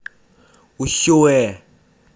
усюэ